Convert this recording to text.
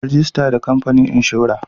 Rajista da kamfanin inshora.